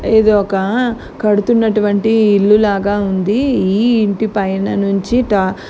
ఇది ఒకా కడుతున్నటువంటి ఇల్లు లాగా ఉంది. ఈ ఇంటి పైన నుంచి ట-అ --